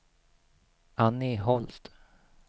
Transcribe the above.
Annie Holst